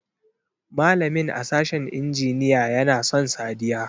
Malamin a sashin injiniya ya na son Sadiya.